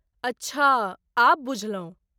अच्छाऽऽऽ, आब बुझलहुँ।